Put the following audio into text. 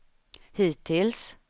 hittills